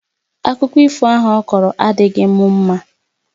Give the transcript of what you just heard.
Akụkọ ifo ahụ ọkọrọ adịghị m mma